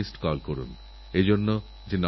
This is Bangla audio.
হৃদয়স্পর্শী দৃশ্য এই ছবিগুলোর মধ্যে ছিল